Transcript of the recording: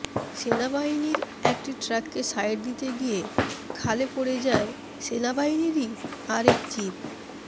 সেনাবাহিনীর একটি ট্রাককে সাইড দিতে গিয়ে খালে পড়ে যায় সেনাবাহিনীরই আরেক জীপ